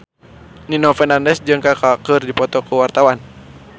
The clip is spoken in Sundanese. Nino Fernandez jeung Kaka keur dipoto ku wartawan